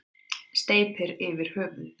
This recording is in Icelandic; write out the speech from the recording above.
Steypir yfir höfuðið.